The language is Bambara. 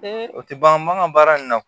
o tɛ ban an ka baara in na